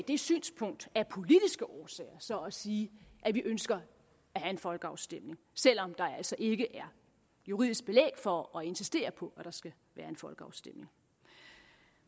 det synspunkt af politiske årsager så at sige at vi ønsker at have en folkeafstemning selv om der altså ikke er juridisk belæg for at insistere på at der skal være folkeafstemning